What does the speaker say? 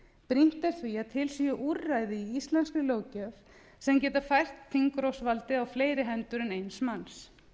brýnt er því að til séu úrræði í íslenskri löggjöf sem geta fært þingrofsvaldið á fleiri hendur en eins manns